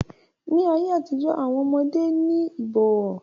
Ní ayé àtijó, àwọn ọmọdé ní ìbọ̀wọ̀.